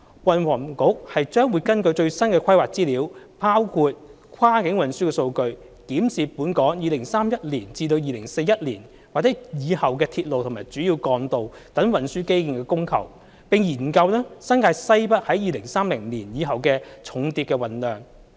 運輸及房屋局將會根據最新的規劃資料，包括跨境運輸數據，檢視本港2031年至2041年或以後的鐵路和主要幹道等運輸基建的供求，並研究新界西北在2030年以後的重鐵運量。